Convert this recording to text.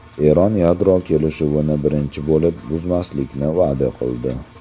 Eron yadro kelishuvini birinchi bo‘lib buzmaslikni va’da qildi.